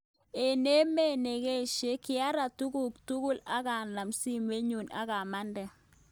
A mabeet nengeshyek kiarat tugukchuk ak a nam simet nyu ak a mande